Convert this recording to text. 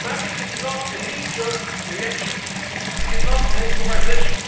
This is not a knee jerk reaction. This is not improvisation.